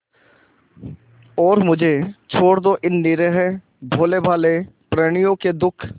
और मुझे छोड़ दो इन निरीह भोलेभाले प्रणियों के दुख